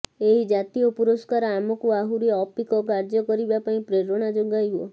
ଏହି ଜାତୀୟ ପୁରସ୍କାର ଆମକୁ ଆହୁରି ଅପିକ କାର୍ଯ୍ୟ କରିବା ପାଇଁ ପ୍ରେରଣା ଯୋଗାଇବ